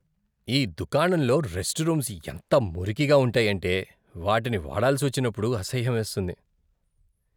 ఈ దుకాణంలో restrooms ఎంత మురికిగా ఉంటాయంటే, వాటిని వాడాల్సి వచ్చినప్పుడు అసహ్యమేస్తుంది.